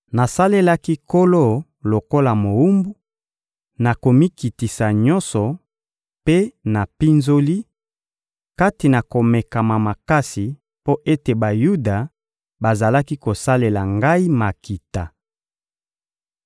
Nasalelaki Nkolo lokola mowumbu, na komikitisa nyonso mpe na mpinzoli, kati na komekama makasi mpo ete Bayuda bazalaki kosalela ngai makita.